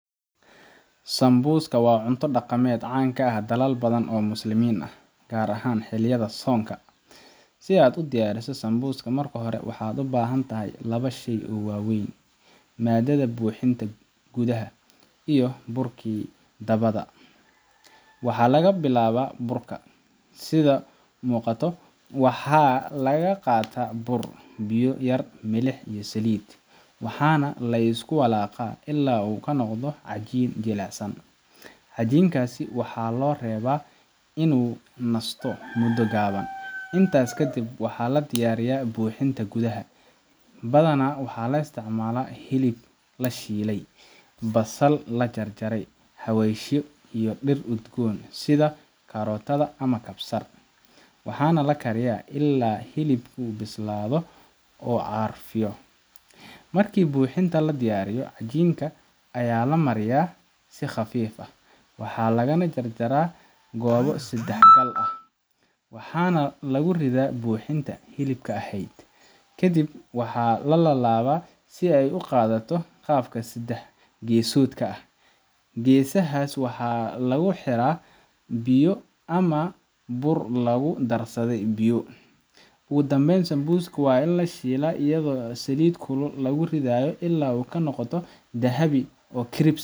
Sambusa waa cunto dhaqameed caan ka ah dalal badan oo Muslimiin ah, gaar ahaan xilliyada soonka. Si aad u diyaariso sambusa, marka hore waxaad u baahan tahay laba shay oo waaweyn: maaddada buuxinta gudaha iyo burkii dibadda. Waxaa laga bilaabaa burka. Waxaa la qaataa bur, biyo yar, milix iyo saliid. Waxaana la isku walaaqaa ilaa uu ka noqdo cajiin jilicsan. Cajiinkaasi waxaa loo reebaa inuu nasto muddo gaaban. Intaas kadib, waxaa la diyaariyaa buuxinta gudaha. Badanaa waxaa la isticmaalaa hilib la shiiday, basal la jarjaray, xawaashyo, iyo dhir udgoon sida karotada ama kabsar. Waxaana la kariyaa ilaa hilibku bislaado oo carfiyo. Markii buuxinta la diyaariyo, cajiinkii ayaa la miiraa si khafiif ah, loogana jarjaa goobo saddex-xagal ah. Waxaana lagu ridaa buuxintii hilibka ahayd, ka dibna waa la laabaa si ay u qaadato qaabka saddex-geesoodka ah. Geesaha waxaa lagu xiraa biyo yar ama bur lagu darsaday biyo. Ugu dambeyn, sambusada waa la shiilaa iyadoo saliid kulul lagu ridayo ilaa ay ka noqoto dahabi ah oo crispy.